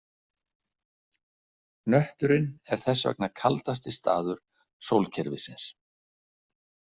Hnötturinn er þess vegna kaldasti staður sólkerfisins.